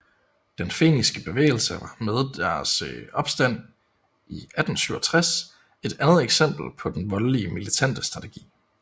Den Feniske bevægelse var med deres opstand i 1867 et andet eksempel på den voldelige militante strategi